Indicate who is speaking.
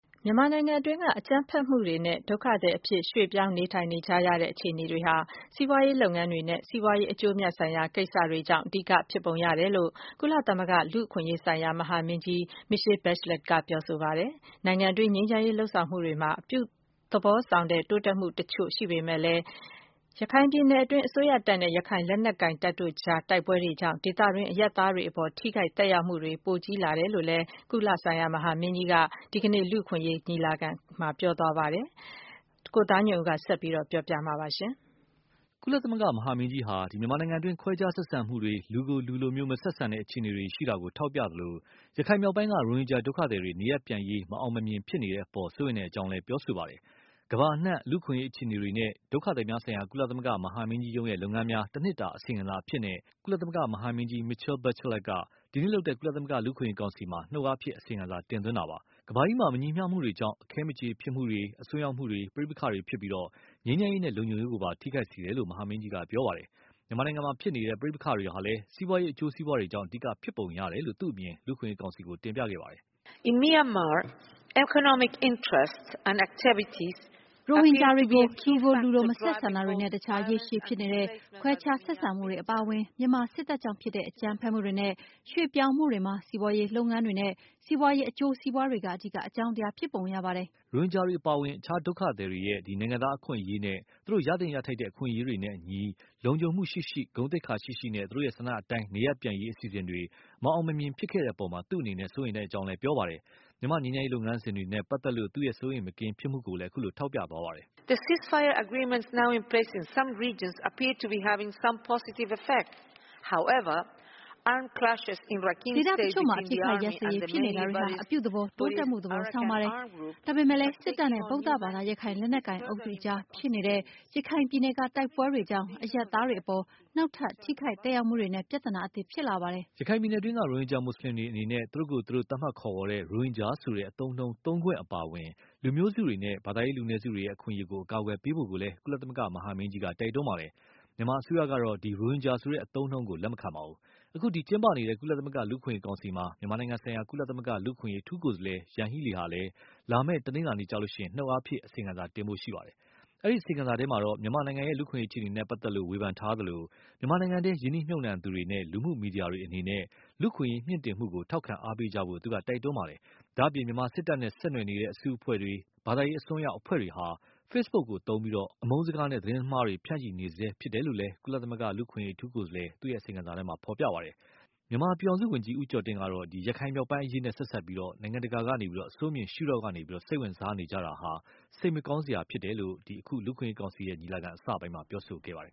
Speaker 1: မြန်မာနိုင်ငံတွင်းက အကြမ်းဖက်မှုတွေနဲ့ ဒုက္ခသည် အဖြစ်ရွှေ့ပြောင်းနေထိုင် ရတဲ့အခြေအနေတွေဟာ စီးပွားရေးလုပ်ငန်းတွေနဲ့ စီးပွားရေး အကျိုးအမြတ် ဆိုင်ရာကိစ္စတွေကြောင့် အဓိက ဖြစ်ပုံရတယ်လို့ ကုလသမဂ္ဂ လူ့အခွင့်အရေးဆိုင်ရာ မဟာမင်းကြီး Michelle Bachelet က ပြောဆိုပါတယ်။ နိုင်ငံတွင်း ငြိမ်းချမ်းရေး လုပ်ဆောင်မှုတွေမှာ အပြုသဘောဆောင်တိုးတက်မှုအချို့ရှိပေမယ့်လည်း၊ ရခိုင်ပြည်နယ်တွင်း အစိုးရတပ်နဲ့ ရခိုင်လက်နက်ကိုင်တို့အကြားတိုက်ပွဲတွေကြောင့် ဒေသတွင်း အရပ်သားတွေအပေါ် ထိခိုက်သက်ရောက်မှုတွေ ပိုကြီးလာတယ်လို့လည်း ကုလ မဟာမင်းကြီးက ဒီကနေ့ လူ့အခွင့်အရေးကောင်စီ ညီလာခံမှာ ပြောဆို သွားပါတယ်။ ကိုသားညွန့်ဦး ဆက်ပြီး ပြောပြပါလိမ့်မယ်
Speaker 2: ။ ကုလမဟာမင်းကြီးဟာ မြန်မာနိုင်ငံတွင်း ခွဲခြားဆက်ဆံမှုတွေ လူကိုလူလို မဆက်ဆံတဲ့ အခြေအနေတွေရှိတာကို ထောက်ပြသလို၊ ရခိုင်မြောက်ပိုင်းက ရိုဟင်ဂျာဒုက္ခသည်တွေ နေရပ်ပြန်ရေးမအောင်မမြင် ဖြစ်နေတဲ့အပေါ် စိုးရိမ်တဲ့အကြောင်းလည်း ပြောဆိုပါတယ်။ ကမ္ဘာအနှံ လူ့အခွင့်အရေးအခြေအနေနဲ့ ဒုက္ခသည်များဆိုင်ရာ ကုလသမဂ္ဂမဟာမင်းကြီးရုံး ရဲ့လုပ်ငန်းများ တနှစ်တာအစီရင်ခံစာအဖြစ်နဲ့ ကုလမဟာမင်းကြီး Michelle Bachelet က ဒီနေ့လုပ်တဲ့ ကုလသမဂ္ဂ လူ့အခွင့်အရေး ကောင်စီကို နှုတ်အားဖြင့် အစီရင်ခံစာ တင်သွင်းတာပါ။ ကမ္ဘာကြီးမှာ မညီမျှမှုတွေကြောင့် အခဲမကြေဖြစ်မှုတွေ အစွန်းရောက်မှုတွေ ပဋိပက္ခတွေဖြစ်ပြီး ငြိမ်းချမ်းရေးနဲ့လုံခြုံရေးကိုပါ ထိခိုက်စေတယ်လို့ မဟာမင်းကြီးက ပြောပါတယ်။ မြန်မာနိုင်ငံမှာဖြစ်နေတဲ့ ပဋိပက္ခတွေဟာလည်း စီးပွားရေးအကျိုး စီးပွားတွေကြောင့် အဓိက ဖြစ်ပုံရတယ်လို့ သူ့ အမြင် လူ့အခွင့်အရေးကောင်စီကို တင်ပြခဲ့ပါတယ်
Speaker 1: ။ “ ရ
Speaker 3: ိုဟင်ဂျာတွေကို လူကို လူလို မဆက်ဆံတာတွေနဲ့ အခြား ရေရှည်ဖြစ်နေတဲ့ ခွဲခြား ဆက်ဆံမှုတွေအပါအဝင်၊ မြန်မာစစ်တပ်ကြောင့်ဖြစ်တဲ့ အကြမ်းဖက်မှုတွေနဲ့ ရွေ့ပြောင်းမှုတွေ မှာ စီးပွားရေးလုပ်ငန်းတွေနဲ့ စီးပွားရေး အကျိုးစီးပွားတွေက အဓိက အကြောင်းတရားဖြစ်ပုံရပါတယ်။
Speaker 2: ” ရိုဟင်ဂျာတွေအပါအဝင် ဒုက္ခသည်တွေရဲ့ နိုင်ငံသားအခွင့်အရေးနဲ့ သူတို့ ရသင့်ရထိုက်တဲ့ အခွင့်အရေးတွေနဲ့အညီ လုံခြုံမှုရှိရှိ ဂုဏ်သိက္ခာရှိရှိနဲ့ သူတို့ ဆန္ဒတိုင်းနေရပ်ပြန်ရေး အစီအစဉ်တွေ မအောင်မမြင်ဖြစ်ခဲ့တဲ့အပေါ် သူ့အနေနဲ့ စိုးရိမ်ကြောင်း ပြောပါတယ်။ မြန်မာငြိမ်းချမ်းရေးလုပ်ငန်းစဉ်တွေနဲ့ပတ်သက်လို့ သူ့စိုးရိမ်မကင်း ဖြစ်မှုကိုလည်း ပြောသွားပါတယ်။
Speaker 1: “ ဒေသအချို့မှာ အပစ်အခတ်ရပ်စဲရေးဖြစ်နေတာတွေဟာ အပ
Speaker 3: ြုသဘော တိုးတက်မှု သဘောဆောင်ပါတယ်။ ဒါပေမယ့်လည်း စစ်တပ်နဲ့ ဗုဒ္ဓဘာသာ ရခိုင်လက်နက်ကိုင် အုပ်စုအကြားဖြစ်နေတဲ့ ရခိုင်ပြည်နယ်က တိုက်ပွဲတွေကြောင့် အရပ်သားတွေအပေါ် နောက်ထပ် ထိခိုက်သက်ရောက်မှုတွေနဲ့ ပြဿနာသစ်ဖြစ်လာပါတယ်
Speaker 2: ။” ရခိုင်ပြည်နယ်တွင်းက ရိုဟင်ဂျာမွတ်ဆလင်တွေအနေနဲ့ သူတို့ကိုယ်သူတို့ သတ်မှတ်ခေါ်ဝေါ်တဲ့ ရိုဟင်ဂျာဆိုတဲ့ အသုံးအနှုံးသုံးခွင့်အပါအဝင် လူမျိုးစုတွေနဲ့ ဘာသာရေးလူနည်းစုတွေရဲ့ အခွင့်အရေးကို အကာအကွယ်ပေးဖို့ကိုလည်း ကုလ မဟာမင်းကြီးက တိုက်တွန်းခဲ့ပါတယ်။ မြန်မာအစိုးရကတော့ ရိုဟင်ဂျာဆိုတဲ့ အသုံးအနှုန်းကိုလက်မခံပါဘူး။ အခု ကျင်းပနေတဲ့ ကုလသမဂ္ဂလူ့အခွင့်အရေးကောင်စီမှာ မြန်မာနိုင်ငံဆိုင်ရာ ကုလလူ့အခွင့်အရေးအထူးကိုယ်စားလှယ် Yanhee Lee ကလည်း လာမယ့် တနလာၤနေ့ကျရင် နှုတ်အားဖြင့် အစီရင်ခံစာတင်ဖို့ရှိပါတယ်။ အဲဒီအစီရင်ခံစာထဲ မြန်မာ့လူ့အခွင့်အရေးအခြေအနေ နဲ့ ပတ်သက်လို့ ဝေဖန်ထားသလို၊ မြန်မာနိုင်ငံတွင်း ရင်းနှီးမြှူပ်နှံသူတွေနဲ့ လူမှုမီဒီယာတွေအနေနဲ့ လူ့အခွင့်အရေးမြင့်တင်မှု ထောက်ခံအားပေးကြဖို့ သူက တိုက်တွန်းထားပါတယ်။ ဒါ့အပြင် မြန်မာစစ်တပ်နဲ့ဆက်နွယ်နေတဲ့အစုအဖွဲ့တွေ၊ ဘာသာရေး အစွန်းရောက်အဖွဲ့တွေဟာ Facebook ကိုအသုံးပြုပြီး အမုန်းစကားတွေနဲ့ သတင်းမှားတွေ ဆက် ဖြန့်ချီနေတယ်လို့လည်း ကုလလူ့အခွင့်အရေး အထူးကိုယ်စားလှယ် အစီရင်ခံစာမှာ ပါရှိပါတယ်။ မြန်မာပြည်ထောင်စုဝန်ကြီး ဦးကျော်တင် ကတော့ ရခိုင်မြောက်ပိုင်းအရေးနဲ့ဆက်စပ်ပြီး နိုင်ငံတကာဟာ အဆိုးမြင်ရှုထောင့်ကနေ စိတ်ဝင်စားနေကြတာဟာ စိတ်မကောင်းစရာဖြစ်တယ်လို့ အခု လူ့အခွင့်အရေးကောင်စီ ညီလာခံအစပိုင်းမှာ ပြောဆိုခဲ့ပါတယ်